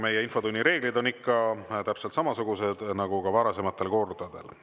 Meie infotunni reeglid on ikka täpselt samasugused nagu varasematel kordadel.